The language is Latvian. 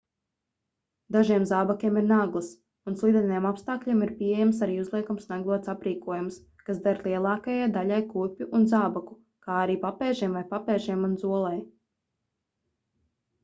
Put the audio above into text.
dažiem zābakiem ir naglas un slideniem apstākļiem ir pieejams arī uzliekams naglots aprīkojums kas der lielākajai daļai kurpju un zābaku kā arī papēžiem vai papēžiem un zolei